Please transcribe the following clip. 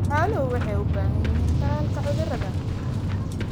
Xooluhu waxay u baahan yihiin tallaalka cudurrada.